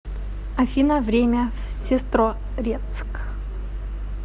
афина время в сестрорецк